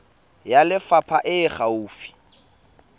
ya lefapha e e gaufi